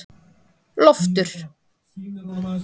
Loftur